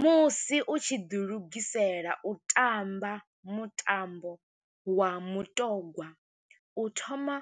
Musi u tshi ḓi lugisela u tamba mutambo wa mutogwa, u thoma